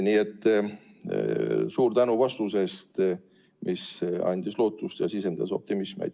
Nii et suur tänu vastuse eest, mis andis lootust ja sisendas optimismi.